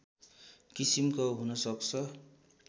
किसिमको हुनसक्छ